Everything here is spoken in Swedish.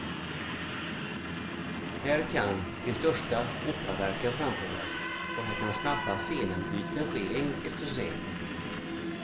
Här kan de största operaverken framföras och här kan snabba scenenbyten ske enkelt och säkert.